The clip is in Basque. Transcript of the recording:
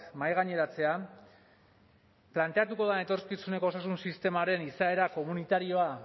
mahaigaineratzea planteatuko den etorkizuneko osasun sistemaren izaera komunitarioa